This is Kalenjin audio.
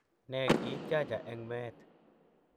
Ne Ki 'tiacha eng' me-et,